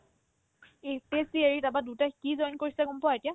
APSC এৰি তাৰপাই দুটাই কি join কৰিছে গম পোৱা এতিয়া